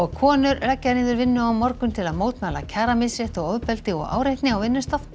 konur leggja niður vinnu á morgun til að mótmæla kjaramisrétti og ofbeldi og áreitni á vinnustað